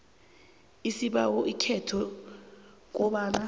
isibawo ekhotho kobana